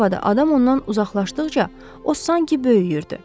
Açıq havada adam ondan uzaqlaşdıqca, o sanki böyüyürdü.